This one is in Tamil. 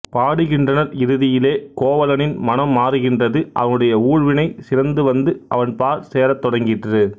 பாடுகின்றனர் இறுதியிலே கோவலனின் மனம் மாறுகின்றது அவனுடைய ஊழ்வினை சினந்துவந்து அவன் பாற் சேரத் தொடங்கிற்று